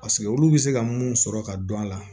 Paseke olu bɛ se ka mun sɔrɔ ka dɔn a la